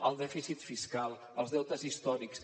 el dèficit fiscal els deutes històrics